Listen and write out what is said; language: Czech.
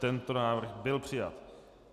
Tento návrh byl přijat.